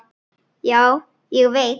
Já, ég veit